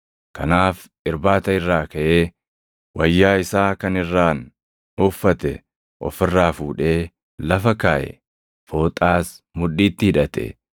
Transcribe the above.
kanaaf irbaata irraa kaʼee, wayyaa isaa kan irraan uffate of irraa fuudhee lafa kaaʼe; fooxaas mudhiitti hidhate.